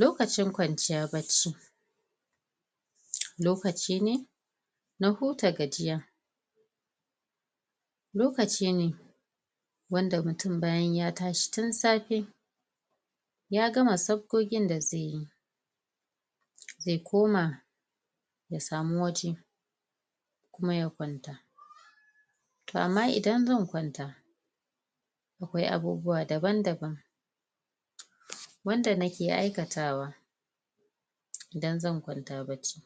Lokacin kwanciya bacci lokaci ne na huta gajiya lokaci ne wanda mutum bayan ya tashi tun safe ya gama sabgogin da zai yi zai koma ya samu waje kuma ya kwanta to amma idan zan kwanta akwai abubuwa daban daban wanda nake aikatawa idan zan kwanta bacci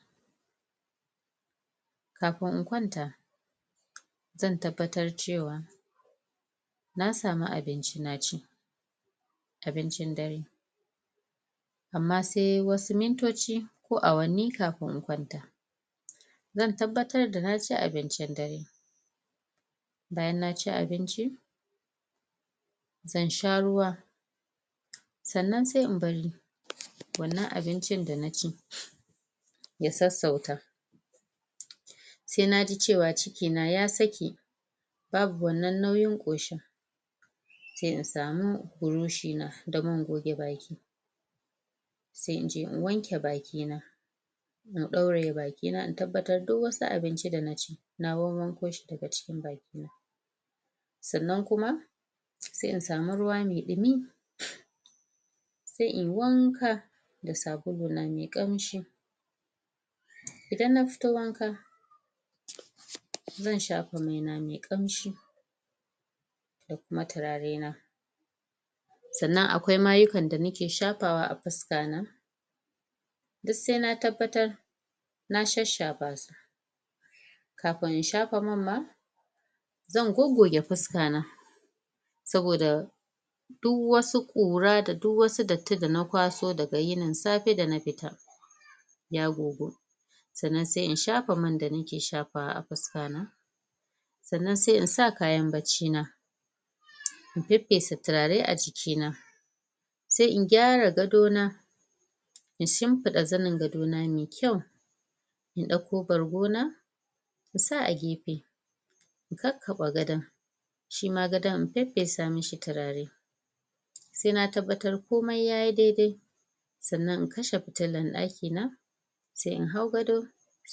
kafin in kwanta zan tabbatar cewa na samu abinci na ci abincin dare amma sai wasu mintoci ko awanni kafin in kwanta zan tabbatar da na ci abincin dare bayan naci abinci zan sha ruwa sannan sai in bari wannan abincin da na ci ya sassauta sai naji cewa ciki na ya sake babu wannan nauyin ƙoshin sai in samu buroshi na da man goge baki sai in je in wanke baki na in ɗauraye baki na in tabbatar duk wasu abinci da na ci na wawwanko shi daga cikin bakina sannan kuma sai in samu ruwa mai ɗumi sai inyi wanka da sabulu na mai ƙamshi idan na fito wanka zan shafa mai na mai ƙamshi da kuma turare na sannan akwai mayuka na da nake shafawa a fuska na duk sai na tabbatar na shasshafa su kafin in shafa man ma zan goggoge fuska na saboda Duk wasu ƙura da duk wasu datti da na kwaso daga yinin safe da na fita ya gogu sannan sai in shafa man da nake shafawa a fuska na sannan sai in sa kayan bacci na in feffesa turare a jiki na sai in gyara gadona in shimfiɗa zanin gadona mai kyau in ɗauko bargo na in sa a gefe in kakkaɓe gadon shima gadon in feffesa mishi turare sai na tabbatar komai yayi daidai sannan in kashe fitilan ɗaki na sai in hau gado, sai